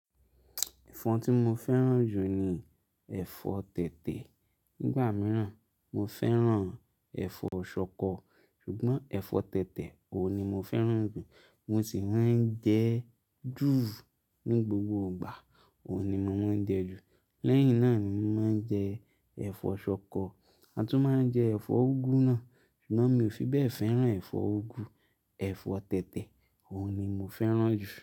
Ẹ̀fọ́ tí mo fẹ́ràn jù ni ẹ̀fọ́ tètè. Nígbà mìíràn, mo fẹ́ràn ẹ̀fọ́ ṣọkọ. Ṣùgbọ́n ẹ̀fọ́ tètè, òun ni mo fẹ́ràn jù. Mo sì máa ń jẹ jù ní gbogbo ìgbà, òun ni mo máa ń jẹ ju. Lẹ́yìn náà ni mo máa ń jẹ ẹ̀fọ́ ṣọkọ. A tún máa ń jẹ ẹ̀fọ́ úgú náà, ṣùgbọ́n mi ò fi bẹ́ẹ̀ fẹ́ràn ẹ̀fọ́ úgú. Ẹ̀fọ́ tètè, òun ni mo fẹ́ràn jù.